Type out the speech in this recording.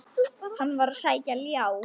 Hann var að sækja ljá.